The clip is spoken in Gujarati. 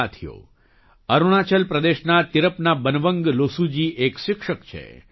સાથીઓ અરુણાચલ પ્રદેશના તિરપના બનવંગ લોસુજી એક શિક્ષક છે